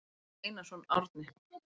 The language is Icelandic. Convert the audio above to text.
Bjarni Einarsson, Árni.